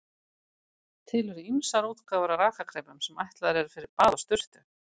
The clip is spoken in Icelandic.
Til eru ýmsar útgáfur af rakakremum sem ætlaðar eru fyrir bað og sturtu.